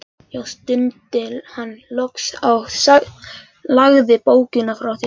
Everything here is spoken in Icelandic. Já, stundi hann loks og lagði bókina frá sér.